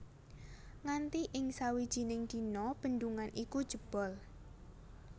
Nganti ing sawijining dina bendungan iku jebol